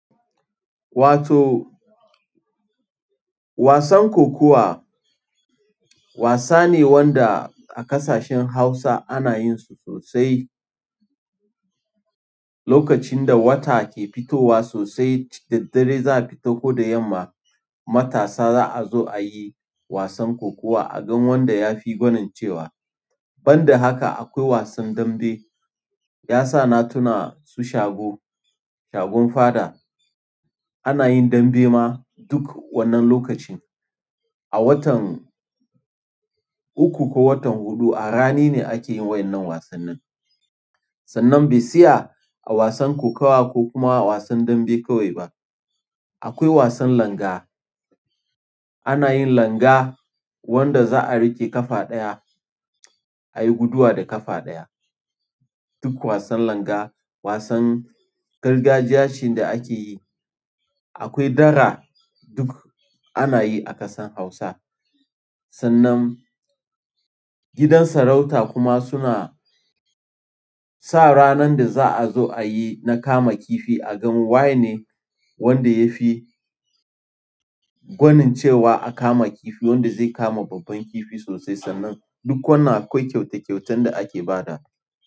Wato wasan kokuwa wasa ne wanda a ƙasashen Hausa ana yin su sosai. Lokacin da wata ke fitowa sosai, da daddare za a fito ko da yamma. Matasa za a zo a yi wasan kokuwa a ga wanda ya fi gwanancewa. Banda haka akwai wasan dambe yasa natuna su shago, shagon faɗa ana yin dambe ma duk wannan lokacin. A watan uku ko watan huɗu a rani ne ake yin waɗannan wasannin. Sannan bai si'a a wasan kokawa ko kuma a wasan dambe kawai ba. Akwai wasan langa. Ana yin langa wanda za a riƙe ƙafa ɗaya, a yi guduwa da ƙafa ɗaya. Duk wasan langa wasan gargajiya ce da ake yi. Akwai dara duk ana yi a ƙasan Hausa. Sannan gidan sarauta kuma suna sa ranar da za a zo a yi na kama kifi a gani waye ne wanda tafi gwanincewa a kama kifi wanda zai kama babban kifi sosai sannan dun wannan akwai kyautar da ake badawa.